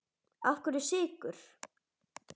Af hverju Sykur?